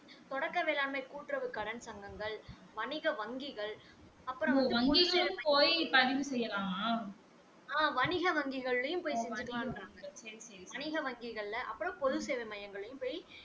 தொடக்க வேளாண்மை கூட்டுறவு கடன் சங்கங்கள் வணிக வங்கிகள் அப்பறம் வந்து ஆ வணிக வங்கிகள்ளையும் போய் பதிவு பண்ணலாம் சொல்றாங்க வணிக வங்கிகள் அப்பறம் போது சேவை மையங்களும் போய்